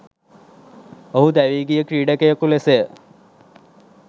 ඔහු දැවී ගිය ක්‍රීඩකයෙකු ලෙසය.